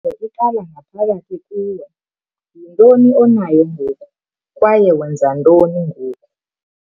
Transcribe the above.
iqala ngaphakathi kuwe yintoni onayo ngoku kwaye wenza ntoni ngoku?